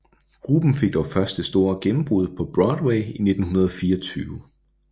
Gruppen fik dog først det store gennembrud på Broadway i 1924